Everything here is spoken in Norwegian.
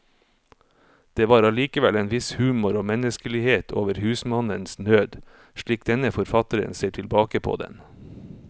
Det var allikevel en viss humor og menneskelighet over husmannens nød, slik denne forfatteren ser tilbake på den.